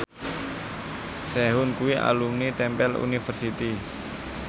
Sehun kuwi alumni Temple University